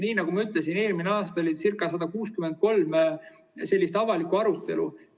Nagu ma ütlesin, eelmine aasta oli 163 avalikku arutelu.